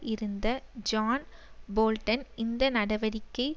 இருந்த John Bolton இந்த நடவடிக்கை